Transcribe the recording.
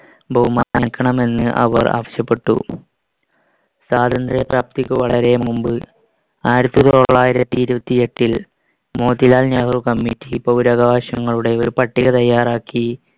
ബഹുമാനിക്കണമെന്ന് അവർ ആവശ്യപ്പെട്ടു. സ്വാതന്ത്ര്യപ്രാപ്തിക്ക് വളരെ മുൻപ് ആയിരത്തിത്തൊള്ളായിരത്തി ഇരുപത്തിയെട്ടിൽ മോത്തിലാൽ നെഹ്‌റു committee പൗരാകവകാശങ്ങളുടെ ഒരു പട്ടിക തയ്യാറാക്കി